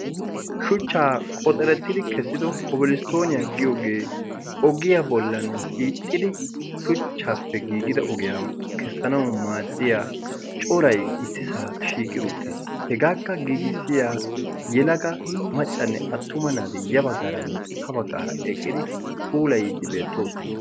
Shuchchaa qoxerettidi kessido kobolisttooniyaa giyoogee ogiyaa bollanne hiixxidi shuchchaappe giigido ogiyaa kessanau maaddiya corai issi saa shiiqi uttiis hegaakka giigissiya yelaga maccanne attuma naadi ya baggaaranne ha baggaara eqqidi puula yiiddi beettoosona.